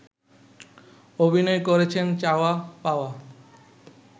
অভিনয় করেছেন চাওয়া পাওয়া